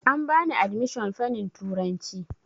An bani adimishon fanin turanci